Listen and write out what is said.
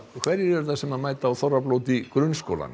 hverjir eru það sem mæta á þorrablót í grunnskólanum